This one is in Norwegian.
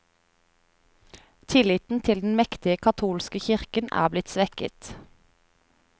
Tilliten til den mektige katolske kirken er blitt svekket.